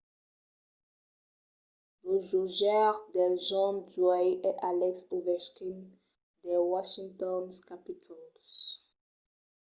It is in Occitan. lo jogaire del jorn d’uèi es alex ovechkin dels washington capitals